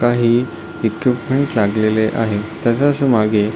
काही ईक्विपमेंट लागलेले आहे तसंच मागे --